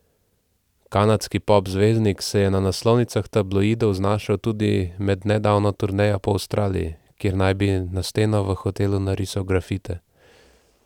Kanadski pop zvezdnik se je na naslovnicah tabloidov znašel tudi med nedavno turnejo po Avstraliji, ker naj bi na steno v hotelu narisal grafite.